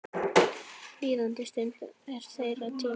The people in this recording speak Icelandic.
Líðandi stund er þeirra tími.